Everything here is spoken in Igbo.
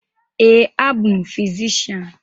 Ee, abụ m fizishian.